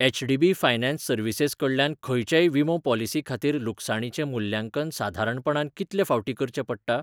HDB finance services कडल्यान खंयचेय विमो पॉलिसी खातीर लुकसाणीचें मुल्यांकन साधारणपणान कितले फावटी करचें पडटा?